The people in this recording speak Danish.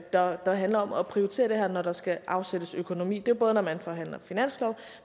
der handler om at prioritere det her når der skal afsættes økonomi det er både når man forhandler finanslov